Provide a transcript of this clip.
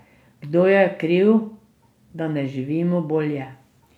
Kdo je kriv, da ne živimo bolje?